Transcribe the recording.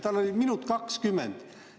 Tema küsimus kestis minut ja 20 sekundit.